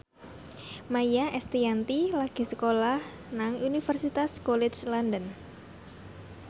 Maia Estianty lagi sekolah nang Universitas College London